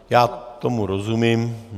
Já tomu rozumím.